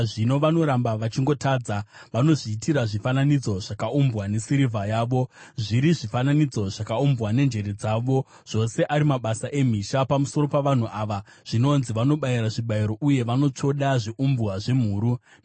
Zvino vanoramba vachingotadza; vanozviitira zvifananidzo zvakaumbwa nesirivha yavo, zviri zvifananidzo zvakaumbwa nenjere dzavo, zvose ari mabasa emhizha. Pamusoro pavanhu ava zvinonzi, “Vanobayira zvibayiro zvevanhu uye vanotsvoda zviumbwa zvemhuru.”